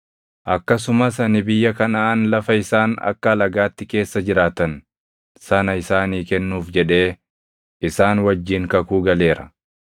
Akkasumas ani biyya Kanaʼaan lafa isaan akka alagaatti keessa jiraattan sana isaanii kennuuf jedhee isaan wajjin kakuu galeera.